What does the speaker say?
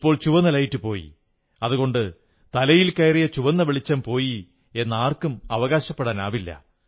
ഇപ്പോൾ ചുവന്ന ലൈറ്റ് പോയി അതുകൊണ്ട് തലയിൽ കയറിയ ചുവന്ന വെളിച്ചം പോയി എന്ന് ആർക്കും അവകാശപ്പെടാനാവില്ല